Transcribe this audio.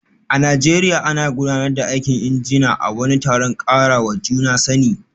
A Najeriya, ana gudanar da aikin injina a wani taron karawa juna sani